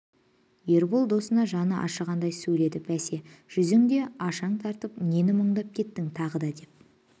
ербол досына жаны ашығандай сөйледі бәсе жүзің де ашаң тартыпты нені мұндап кеттің тағы да деп